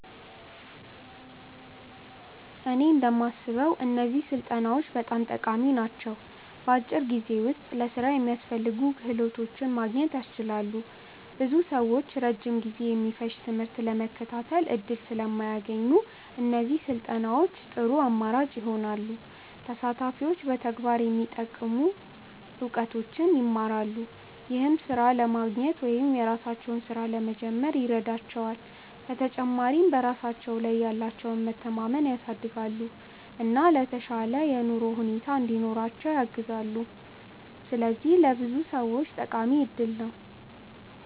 እኔ እንደማስበው እነዚህ ስልጠናዎች በጣም ጠቃሚ ናቸው። በአጭር ጊዜ ውስጥ ለሥራ የሚያስፈልጉ ክህሎቶችን ማግኘት ያስችላሉ። ብዙ ሰዎች ረጅም ጊዜ የሚፈጅ ትምህርት ለመከታተል እድል ስለማያገኙ፣ እነዚህ ስልጠናዎች ጥሩ አማራጭ ይሆናሉ። ተሳታፊዎች በተግባር የሚጠቅሙ እውቀቶችን ይማራሉ፣ ይህም ሥራ ለማግኘት ወይም የራሳቸውን ሥራ ለመጀመር ይረዳቸዋል። በተጨማሪም በራሳቸው ላይ ያላቸውን መተማመን ያሳድጋሉ፣ እና የተሻለ የኑሮ ሁኔታ እንዲኖራቸው ያግዛሉ። ስለዚህ ለብዙ ሰዎች ጠቃሚ እድል ናቸው።